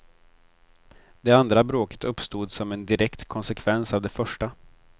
Det andra bråket uppstod som en direkt konsekvens av det första.